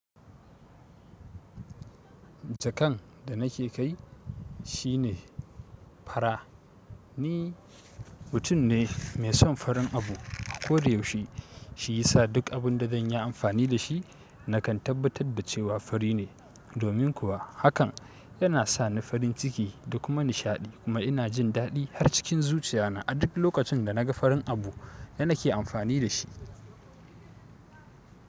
Jakan da nake kai shine fara ni, mutum ne mai son farin abu. Ko da yaushe shi ya sa duk abin da zan yi amfani da shi nakan tabbatar da cewa fari ne. Domin kuwa hakan yana sa ni farin ciki da kuma nishaɗi kuma ina jin daɗi har cikin zuciya na a duk lokacin da naga farin abu yana ke amfani da shi.